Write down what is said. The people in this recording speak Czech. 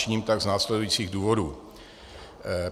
Činím tak z následujících důvodů.